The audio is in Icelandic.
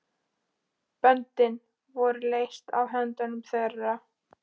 Böndin voru leyst af höndum þeirra.